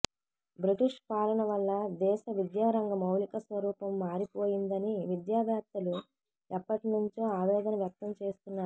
British పాలన వల్ల దేశ విద్యారంగ మౌలిక స్వరూపం మారిపోయిందని విద్యా వేత్తలు ఎప్పటి నుంచో ఆవేదన వ్యక్తం చేస్తున్నారు